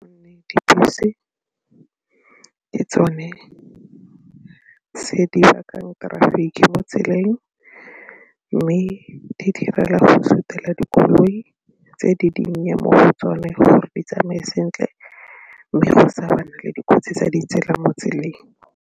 Dibese ke tsone tse di bakang traffic mo tseleng mme di direla go sutela dikoloi tse di dinnye mo go tsone gore di tsamaye sentle mme go sa bana le dikotsi tsa ditsela mo tseleng.